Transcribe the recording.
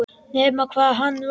Nema hvað hann var hún.